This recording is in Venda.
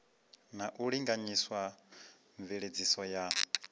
na u linganyisa mveledziso ya